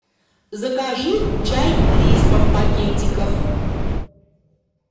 закажи чай лисма в пакетиках